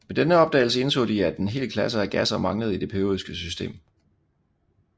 Med denne opdagelse indså de at en hel klasse af gasser manglede i det periodiske system